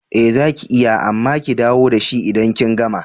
Ee zaki iya amma ki dawo dashi idan kin gama.